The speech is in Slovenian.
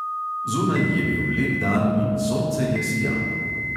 Zunaj je bil lep dan in sonce je sijalo.